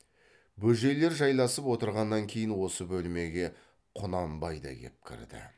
бөжейлер жайласып отырғаннан кейін осы бөлмеге құнанбай да кеп кірді